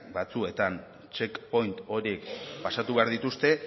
batzuetan check point horiek pasatu behar dituzte